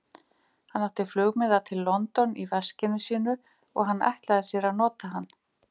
Hann átti flugmiða til London í veskinu sínu, og hann ætlaði sér að nota hann.